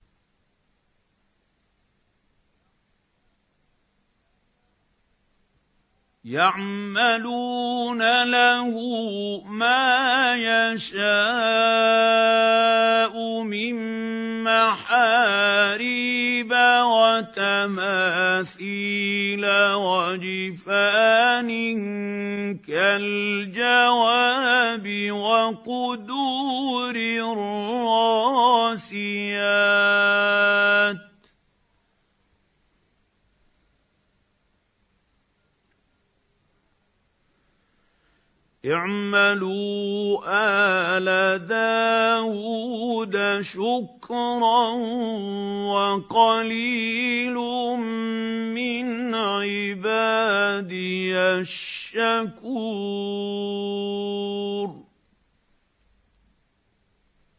يَعْمَلُونَ لَهُ مَا يَشَاءُ مِن مَّحَارِيبَ وَتَمَاثِيلَ وَجِفَانٍ كَالْجَوَابِ وَقُدُورٍ رَّاسِيَاتٍ ۚ اعْمَلُوا آلَ دَاوُودَ شُكْرًا ۚ وَقَلِيلٌ مِّنْ عِبَادِيَ الشَّكُورُ